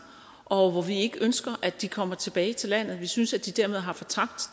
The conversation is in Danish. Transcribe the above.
og hvor vi ikke ønsker at de kommer tilbage til landet vi synes at de dermed har fortabt